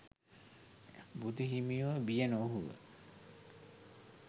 බුදු හිමියෝ බිය නොවූහ.